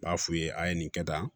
N b'a f'u ye a ye nin kɛ tan